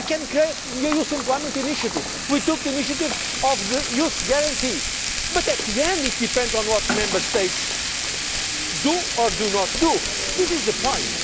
policy. We can influence, we can create some funds. We can create the Youth Employment Initiative, we took the initiative of the Youth Guarantee. But in the end it depends on